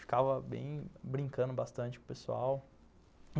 Ficava bem, brincando bastante com o pessoal.